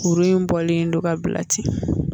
Kuru in bɔlen don ka bila ten